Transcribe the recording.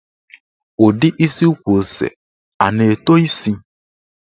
Ụdị isi ukwu ose a na-eto isi?